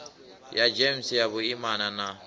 ya gems ya vhuimana na